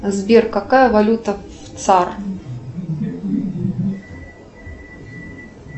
сбер какая валюта в цар